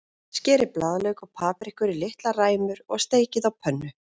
Skerið blaðlauk og paprikur í litlar ræmur og steikið á pönnu.